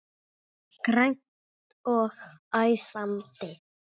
Grannt og æsandi.